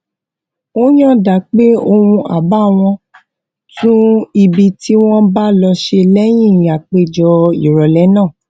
ó yànda pé òun á bá wọn tún ibi tí wón bá lò ṣe léyìn àpéjọ ìrọlẹ náà